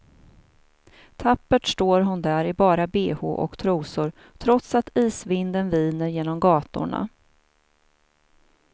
Tappert står hon där i bara behå och trosor, trots att isvinden viner genom gatorna.